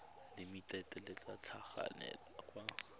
limited le tla tlhagelela kwa